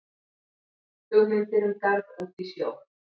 Hugmyndir um garð út í sjó